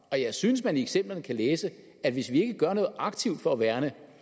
og jeg synes man i eksemplerne kan læse at hvis vi ikke gør noget aktivt for at værne